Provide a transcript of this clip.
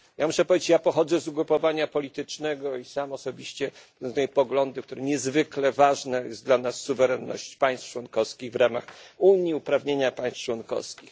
Ja muszę powiedzieć, że pochodzę z ugrupowania politycznego i sam osobiście podtrzymuję pogląd, że tutaj niezwykle ważna jest dla nas suwerenność państw członkowskich w ramach Unii, uprawnienia państw członkowskich.